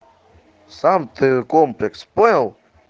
сам ты комплекс понял